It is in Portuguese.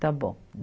Está bom.